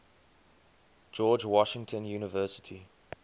george washington university